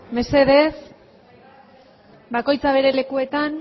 mesedez bakoitza bere lekuetan